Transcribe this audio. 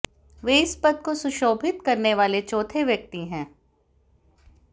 वे इस पद को सुशोभित करने वाले चौथे व्यक्ति हैं